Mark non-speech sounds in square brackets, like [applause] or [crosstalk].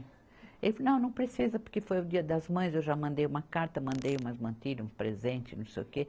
Ele disse, não, não precisa, porque foi o dia das mães, eu já mandei uma carta, mandei umas, [unintelligible] um presente, não sei o quê.